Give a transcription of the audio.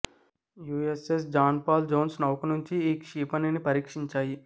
USS John Paul Jones నౌక నుంచి ఈ క్షిపణిని పరీక్షించాయి